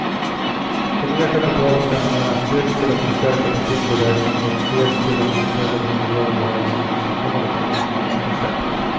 Det nya kapitalet ska användas dels till att förstärka befintlig verksamhet, dels till att utöka det nuvarande verksamhetsområdet genom ett nytt projekt.